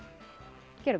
gerum það